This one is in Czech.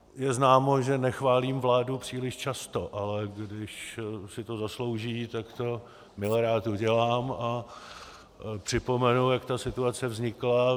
Je známo, že nechválím vládu příliš často, ale když si to zaslouží, tak to milerád udělám a připomenu, jak ta situace vznikla.